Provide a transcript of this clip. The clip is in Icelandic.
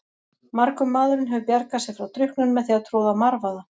Margur maðurinn hefur bjargað sér frá drukknun með því að troða marvaða.